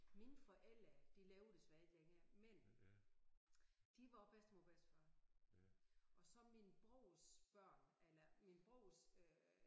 Mine forældre de lever desværre ikke længere men de var også bedstemor og bedstefar og så min brors børn eller min brors øh